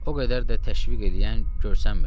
O qədər də təşviq eləyən görünmürdü.